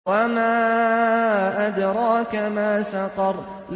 وَمَا أَدْرَاكَ مَا سَقَرُ